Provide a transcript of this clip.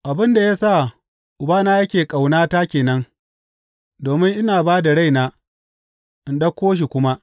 Abin da ya sa Ubana yake ƙaunata ke nan, domin ina ba da raina, in ɗauko shi kuma.